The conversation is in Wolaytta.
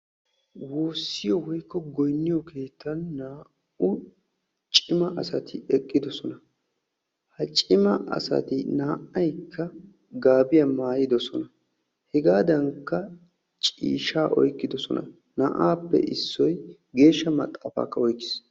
Woossiyoo woykko goynniyoo keettan naa"u cima asati eqidosona. ha cima asati naa"aykka gaabiyaa maayidosona. hegaadankka ciishshaa oyqqidosona. naa"appe issoy geeshsha maxaafaakka oyqqiis.